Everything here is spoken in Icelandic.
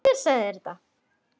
Hver sagði þér þetta?